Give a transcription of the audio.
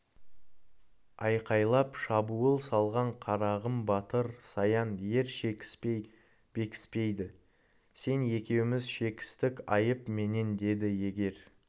айқайлап шабуыл салған қарағым батыр саян ер шекіспей бекіспейді сен екеуміз шекістік айып менен деді егер